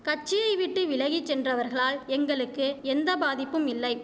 கட்சியை விட்டு விலகி சென்றவர்களால் எங்களுக்கு எந்த பாதிப்பும் இல்லை